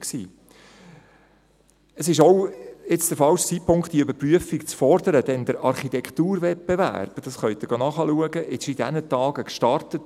Es ist nun auch der falsche Zeitpunkt, die Überprüfung zu fordern, denn der Architekturwettbewerb – dies können Sie nachschauen – ist in diesen Tagen gestartet.